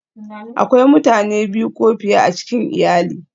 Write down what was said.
Akwai mutane biyu ko fiye a cikin iyali